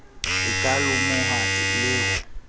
e ka lomohwa le ho